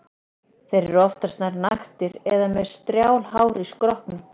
Þeir eru oftast nær naktir eða með strjál hár á skrokknum.